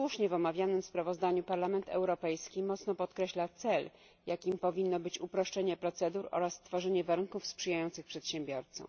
W omawianym sprawozdaniu Parlament Europejski słusznie podkreśla cel, jakim powinno być uproszczenie procedur oraz stworzenie warunków sprzyjających przedsiębiorcom.